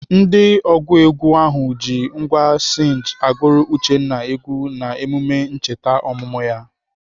Ndị ọgụ egwu ahụ ji ngwá sinj agụrụ Uchenna egwu n'emume ncheta ọmụmụ ya.